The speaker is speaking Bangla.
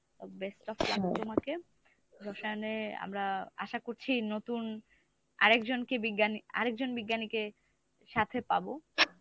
best of luck তোমাকে, রসায়নে আমরা আশা করছি নতুন আরেকজনকে বিজ্ঞানে, আরেক জন বিজ্ঞানীকে সাথে পাবো।